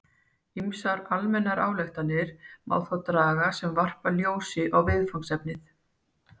Ýmsar almennar ályktanir má þó draga sem varpa ljósi á viðfangsefnið.